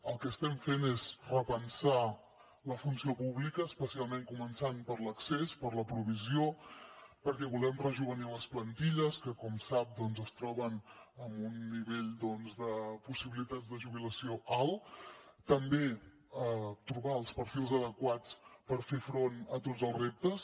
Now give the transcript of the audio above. el que estem fent és repensar la funció pública especialment començant per l’accés per la provisió perquè volem rejovenir les plantilles que com sap es troben en un nivell de possibilitats de jubilació alt també trobar els perfils adequats per fer front a tots els reptes